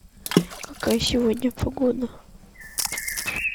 какая сегодня погода